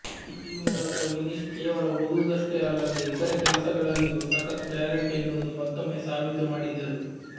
ಈ ಮೂಲಕ ವಿನೀಶ್ ಕೇವಲ ಓದುವುದಷ್ಟೇ ಅಲ್ಲದೆ ಇತರೆ ಕೆಲಸಗಳಲ್ಲಿಯೂ ಸಖತ್ ಟ್ಯಾಲೆಂಟ್ ಎನ್ನುವುದು ಮತ್ತೊಮ್ಮೆ ಸಾಬೀತು ಮಾಡಿದ್ದರು